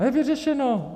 A je vyřešeno.